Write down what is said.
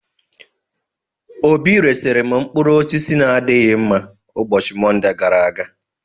Obi resiri m mkpụrụ osis n'adịghị mma ụbọchị Monde gara aga.